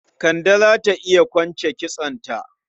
Kande za ta iya kwance kitsonta?